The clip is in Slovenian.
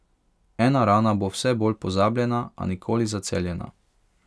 Ena rana bo vse bolj pozabljena, a nikoli zaceljena.